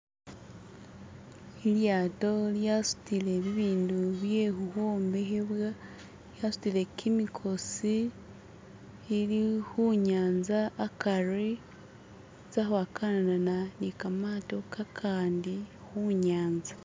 Elyato lyatsutile bibindu byekHukhombekhebwa, yatsutile khimikhotsi, ili khunyanza hakhari, eza kwakhanana nikamato kakhandi kunyanza